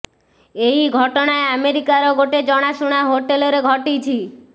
ଏହି ଘଟଣା ଆମେରିକାର ଗୋଟେ ଜଣାଶୁଣା ହୋଟେଲ ରେ ଘଟିଛି